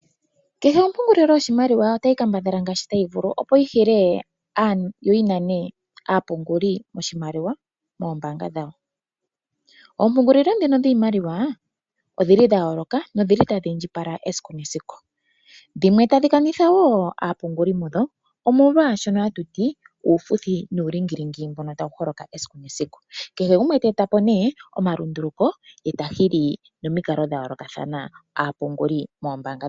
Kehe ompungulilo yoshimaliwa otayi kambadhala ngaashi tayi vulu, opo yi hile noyi nane aapunguli yiimaliwa moombaanga dhawo. Oompungulilo ndhino dhiimaliwa odha yooloka notadhi indjipala esiku nesiku. Dhimwe tadhi kanitha wo aapunguli mudho, omolwa uufuthi nuulingilingi mbono hawu holoka esiku nesiku. Kehe gumwe te eta po nduno omalunduluko ye ta hili nomikalo dha yoolokathana aapunguli moombaanga dhawo.